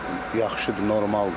Yəni yaxşıdır, normaldır.